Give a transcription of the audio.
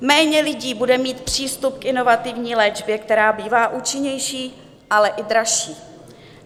Méně lidí bude mít přístup k inovativní léčbě, která bývá účinnější, ale i dražší.